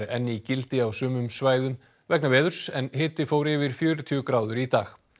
enn í gildi á sumum svæðum vegna veðurs en hiti fór yfir fjörutíu gráður í dag